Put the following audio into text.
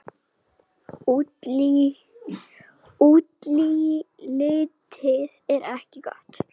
Útlitið er ekki gott.